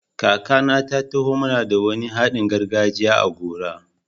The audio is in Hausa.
Kakana ta taho mana da wani haɗin gargajiya a gora.